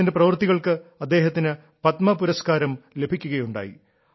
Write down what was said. അദ്ദേഹത്തിന്റെ പ്രവൃത്തികൾക്ക് അദ്ദേഹത്തിന് പത്മ പുരസ്കാരം ലഭിക്കുകയുണ്ടായി